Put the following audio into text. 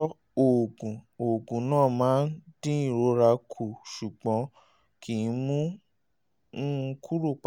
lóòótọ́ oògùn oògùn náà máa ń dín ìrora kù ṣùgbọ́n kì í mú un kúrò pátápátá